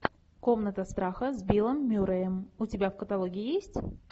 комната страха с биллом мюрреем у тебя в каталоге есть